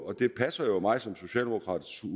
og det passer jo mig som socialdemokrat